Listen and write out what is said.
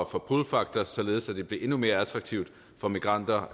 for pull faktor således at det blev endnu mere attraktivt for migranter